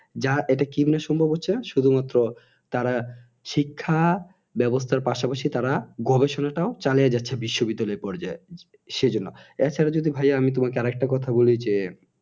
যা এটা কিভাবে সম্ভব হচ্ছে শুধুমাত্র তারা শিক্ষা ব্যাবস্থার পাশাপাশি তারা গবেষণাটি ও চালিয়ে যাচ্ছে বিশ্ব বিদ্যালয়ের পর্যায় সেজন্য এছাড়া যদি ভাইয়া আমি তোমাকে আরেকটা কথা বলি যে